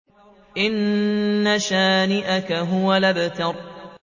إِنَّ شَانِئَكَ هُوَ الْأَبْتَرُ